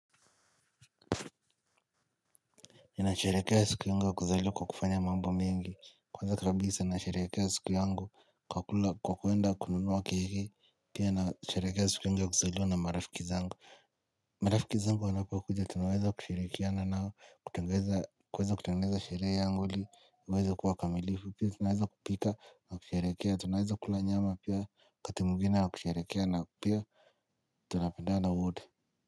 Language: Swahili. Mimi nasherekea siku yangu ya kuzaliwa kwa kufanya mambo mengi. Kwanza kabisa, nasherekea siku yangu kwa kuenda kununwa keki. Pia, nasherekea siku yangu ya kuzaliwa na marafiki zangu. Marafiki zangu wanapokuja, tunaweza kushirikiana nao. Kutengeza kuweza kutengeza sheree yangu ili. Iweze kuwa kamilifu. Pia, tunaweza kupika na kusherekea. Tunaweza kula nyama pia wakati mwengine wa kusherekea na pia tunapendana wote.